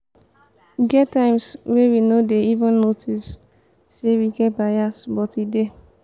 e get times wey we no dey even notice say we get bias but e dey.